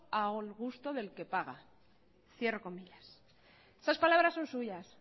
a gusto del que paga esas palabras son suyas